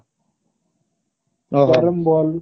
ଓଃ ହୋ ball